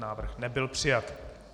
Návrh nebyl přijat.